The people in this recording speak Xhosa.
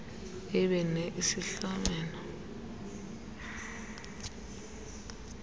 ibe ne isihlomelo